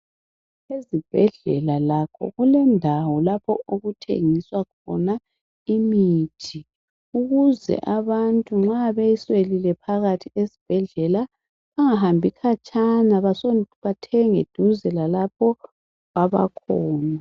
Ezibhedlela lakho kulendawo lapho okuthengiswa khona imithi ukuze abantu nxa beyiswelile phakathi esibhedlela bengahambi khatshana bathenge eduze lalapho abakhona.